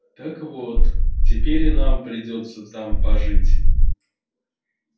так вот теперь и нам придётся там пожить